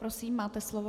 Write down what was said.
Prosím, máte slovo.